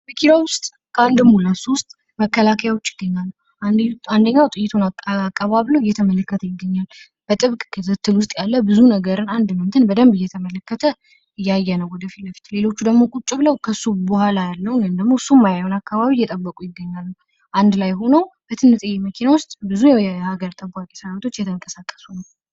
መኪናው ውስጥ ከአንድም ሁለት ሶስት መከላከያዎች ይገኛሉ። አንደኛው ጥይቱን አቀባብሎ እየተመለከት ይገኛል። በጥብቅ ክትትል ውስጥ ያለ ብዙ ነገርን በደንብ እየተመለከተ እያየነው ወደፊት ለፊት ሌሎቹ ደግሞ ቁጭ ብለው በኋላ ያለውን እሱ የማያየን አካባቢ እየጠበቁ ይገኛሉ። አንድ ላይ ሆነው በጥንጥየ መኪና ውስጥ ብዙ የሀገር ጠባቂ ሰራዊቶች እየተንቅስቀሱ ነው።